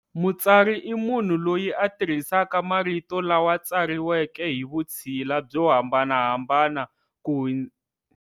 Mutsari i munhu loyi a tirhisaka marito lama tsariweke hi vutshila byo hambanahambana ku.